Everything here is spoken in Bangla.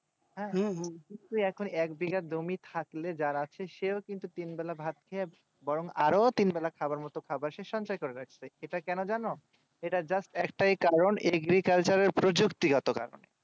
হ্যাঁ হ্যাঁ এক বিঘা জমি থাকলে যার আছে সে ও কিন্তু তিন বেলা ভাত খেয়ে বোরন আরো ও তিন বেলা খাবার মতো খাবার সঞ্চয় করে রাখতো এটা কেন জানো এটা just একটায় কারণ agriculture এর প্রযুক্তি গত কারণে